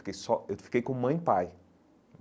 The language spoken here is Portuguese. Eu fiquei só eu fiquei com mãe e pai.